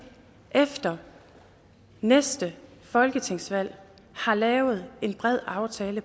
efter næste folketingsvalg har lavet en bred aftale